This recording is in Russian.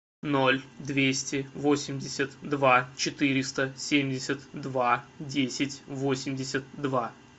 ноль двести восемьдесят два четыреста семьдесят два десять восемьдесят два